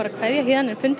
fundur